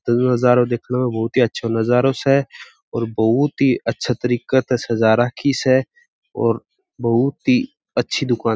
नजरो देखने में बहुत ही अच्छा नजरो स और बहूत ही अच्छा तरीक त सजा राखी स और बहूत ही अच्छी दुकान --